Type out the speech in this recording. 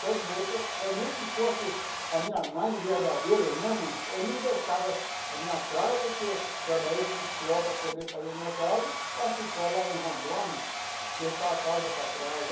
Todo jeito, ou nem que fosse a minha mãe verdadeira mesmo, eu não deixava a minha casa, porque eu trabalhei com suor para poder fazer a minha casa, para ficar lá em Rondônia, deixar a casa para trás.